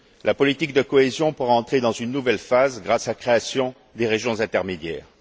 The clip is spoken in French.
la politique de cohésion pourra entrer dans une nouvelle phase grâce à la création des régions intermédiaires.